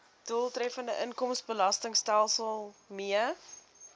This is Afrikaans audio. doeltreffende inkomstebelastingstelsel mee